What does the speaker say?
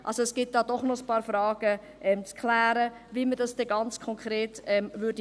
– Es gibt doch noch ein paar Fragen zu klären, wie man es ganz konkret machen würde.